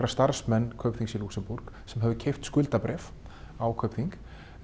starfsmenn Kaupþings í Lúxemborg sem höfðu keypt skuldabréf á Kaupþing